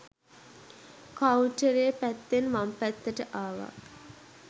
කවුන්ටරය පැත්තෙන් වම් පැත්තට ආවා.